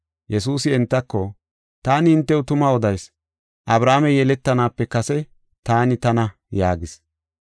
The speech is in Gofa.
Yesuusi entako, “Taani hintew tuma odayis; Abrahaamey yeletanaape kase, ‘Taani Tana’ ” yaagis.